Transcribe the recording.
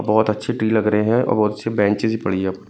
बहोत अच्छी टी लग रहे हैं और बहोत अच्छी बेंचेज भी पड़ी है।